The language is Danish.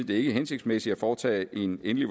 det ikke er hensigtsmæssigt at foretage en endelig